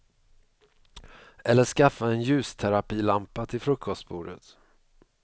Eller skaffa en ljusterapilampa till frukostbordet.